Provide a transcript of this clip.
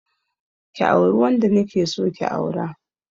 Ki auri wanda na ke so ki aura.